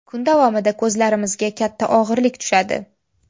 Kun davomida ko‘zlarimizga katta og‘irlik tushadi.